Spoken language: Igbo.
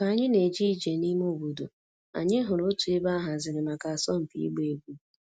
Ka anyị na-eje ije n'ime obodo, anyị hụrụ otu ebe a haziri maka asọmpi ịgba egwu.